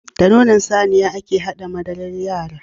Da nonon Saniya ake haɗa madarar yara